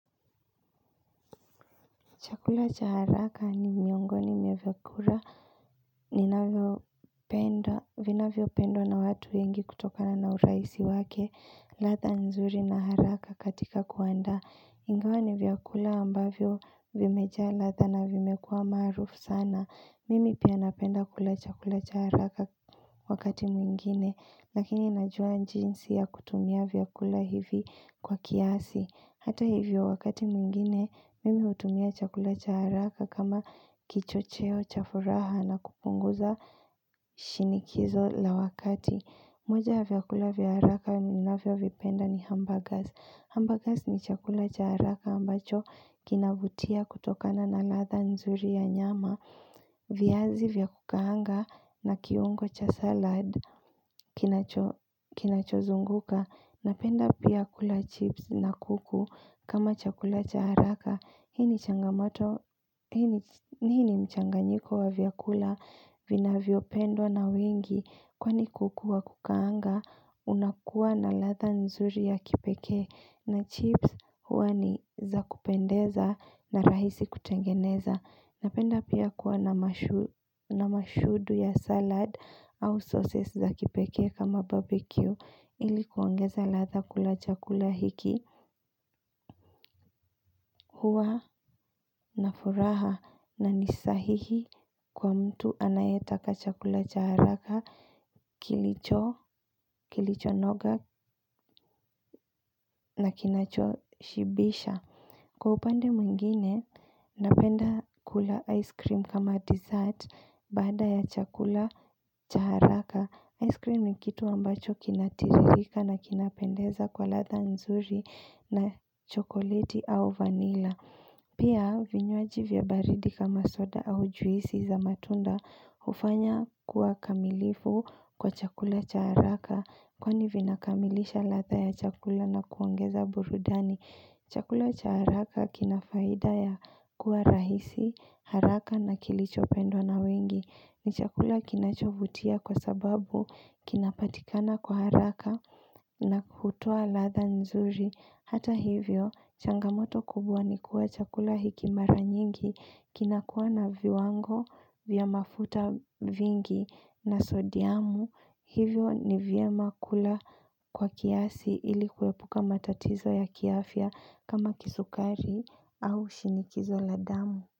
Chakula cha haraka ni miongoni mia vyakula Nina vyopendo na watu wengi kutoka na hurahisi wake ladha nzuri na haraka katika kuanda ingawa ni vyakula ambavyo vimejaa ladha na vimekua maarufu sana Mimi pia napenda kula chakula cha haraka wakati mwingine lakini najua njinsi ya kutumia vyakula hivi kwa kiasi Hata hivyo wakati mwingine, mimi utumia chakula cha haraka kama kicho cheo chafuraha na kupunguza shini kizo la wakati moja ya vyakula vya haraka na vya vipenda ni hamburgers Hamburgers ni chakula cha haraka ambacho kinavutia kutokana na latha nzuri ya nyama viazi vya kukaanga na kiungo cha salad kina cho zunguka Napenda pia kula chips na kuku kama chakula cha haraka, hini mchanganyiko wa viakula vina vinapendwa na wengi kwani kuku wa kukaanga, unakua na ladha nzuri ya kipeke na chips huani za kupendeza na rahisi kutengeneza. Napenda pia kuwa na mashudu ya salad au sauces za kipeke kama barbecue ili kuangeza ladha kula chakula hiki. Huwa na furaha na nisahihi kwa mtu anayetaka chakula cha haraka kilicho, kilicho nogak na kinacho shibisha. Kwa upande mwingine, napenda kula ice cream kama dessert bada ya chakula cha haraka. Ice cream ni kitu ambacho kinatiririka na kinapendeza kwa ladha nzuri na chokoleti au vanila. Pia vinyoaji vya baridi kama soda au juisi za matunda ufanya kuwa kamilifu kwa chakula cha haraka kwa ni vinakamilisha ladha ya chakula na kuongeza burudani. Chakula cha haraka kinafaida ya kuwa rahisi haraka na kilichopendo na wengi. Ni chakula kinachovutia kwa sababu kinapatikana kwa haraka na kutua latha nzuri. Hata hivyo, changamoto kubwa ni kuwa chakula hiki mara nyingi kinakuwa na viwango vya mafuta vingi na sodiamu. Hivyo ni vya makula kwa kiasi ili kuepuka matatizo ya kiafia kama kisukari au shinikizo la damu.